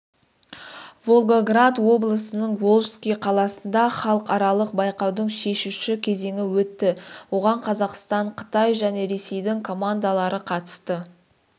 волгоград облысының волжский қаласында халықаралық байқаудың шешуші кезеңі өтті оған қазақстан қытай және ресейдің командалары қатысты